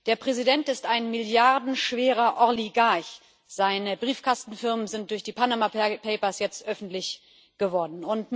Der Präsident ist ein milliardenschwerer Oligarch, seine Briefkastenfirmen sind durch die Panama Papers jetzt öffentlich geworden.